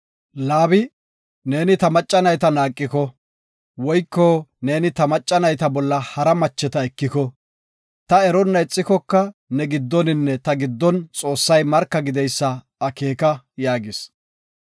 Laabi, “Neeni ta macca nayta naaqiko, woyko neeni ta macca nayta bolla hara macco ekiko, ta eronna ixikoka ne giddoninne ta giddon Xoossay marka gideysa akeeka” yaagis.